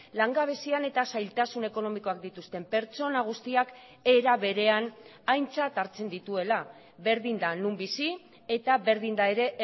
langabezian eta zailtasun ekonomikoak dituzten pertsona guztiak era berean aintzat hartzen dituela berdin da non bizi eta berdin da ere